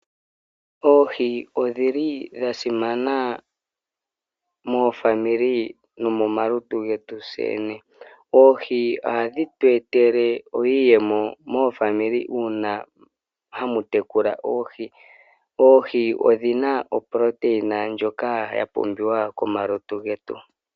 Oohi odhili dhasimana momazimo nomo malutu getu tseyene. Oohi ohadhitu etele iiyemo momazimo uuna hamu tekula oohi ,oohi odhina uundjolowele mboka wapumbiwa komalutu getu.